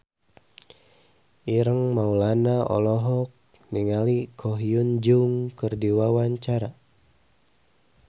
Ireng Maulana olohok ningali Ko Hyun Jung keur diwawancara